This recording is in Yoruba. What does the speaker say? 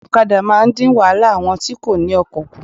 Òkadà máa ń dín wáhálà àwọn tí kò ní okò kù